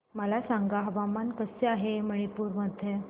मला सांगा हवामान कसे आहे मणिपूर मध्ये